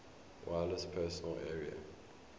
wireless personal area